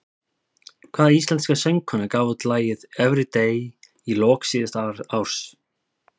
Hvaða íslenska söngkona gaf út lagið Everyday í lok síðasta árs?